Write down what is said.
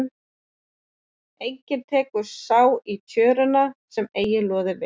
Enginn tekur sá í tjöruna er eigi loði við.